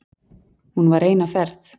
Hún var ein á ferð.